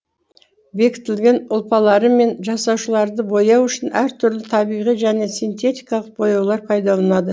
бекітілген ұлпалары мен жасушаларды бояу үшін әртүрлі табиғи және синтетикалық бояулар пайдалынады